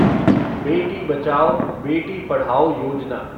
Beti Bachao, Beti Padhao Yojana